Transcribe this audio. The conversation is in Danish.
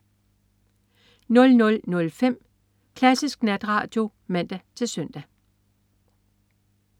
00.05 Klassisk Natradio (man-søn)